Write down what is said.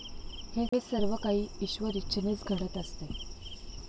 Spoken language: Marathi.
हे सर्वकाही ईश्वरेच्छेनेच घडत असते.